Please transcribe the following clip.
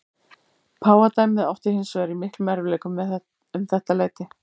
Páfadæmið átti hins vegar í miklum erfiðleikum um þetta leyti.